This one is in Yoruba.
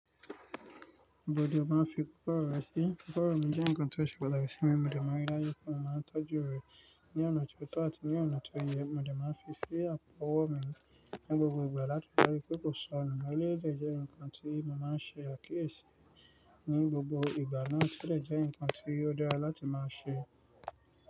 Ibi ni o máa ń fi kòkòrò rẹ̀ sí? Kòkòrò mi jẹ́ nǹkan tó ṣe pàtàkì sí mi, mo dẹ̀ máa ń rí lá daju pe mo máa ń tọ́jú rẹ̀ ní ọ̀nà tó tọ́ àti ní ọ̀nà tó yẹ, mo dẹ̀ máa ń fi sí àpò ọwọ́ mi ní gbogbo ìgbà láti rí daju pé kò sọ́nù, eleyii de jẹ́ nǹkan tí mo máa ń ṣe àkíyèsí ní gbogbo ìgbà náà, tio de jẹ́ nǹkan tí ó dára naa láti máa ṣe.